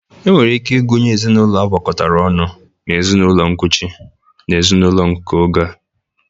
E nwere ike ịgụnye ezinaụlọ agwakọtara ọnụ na ezinaụlọ nkuchi n'ezinaụlọ nke oge a.